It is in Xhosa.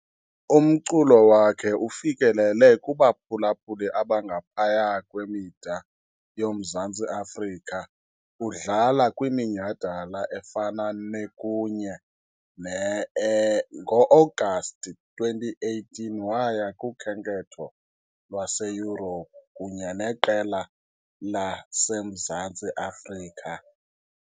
Umculo wakhe ufikelele kubaphulaphuli abangaphaya kwemida yoMzantsi Afrika, udlala kwiminyhadala efana ne- kunye ne e-. Ngo-Agasti 2018, waya kukhenketho lwaseYurophu kunye neqela le laseMzantsi Afrika.